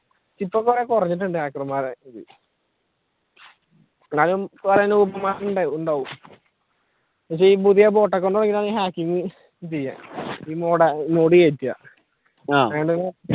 ഇപ്പൊ കുറെ കുറഞ്ഞിട്ടുണ്ട് hacker മാർ എന്നുവെച്ച പുതിയ bot account കേറ്റുക അങ്ങനെ